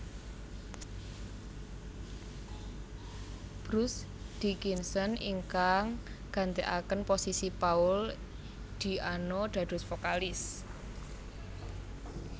Bruce Dickinson ingkang gantekaken posisi Paul Di Anno dados vokalis